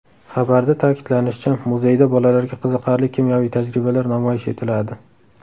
Xabarda ta’kidlanishicha, muzeyda bolalarga qiziqarli kimyoviy tajribalar namoyish etiladi.